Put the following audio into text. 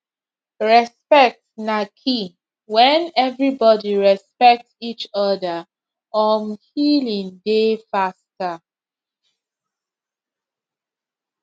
respect na key when everybody respect each other um healing dey faster